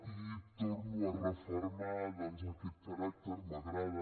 i torno a refermar aquest caràcter m’agrada